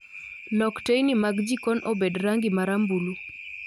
Lok teyni mag jikon obed rangi marambulu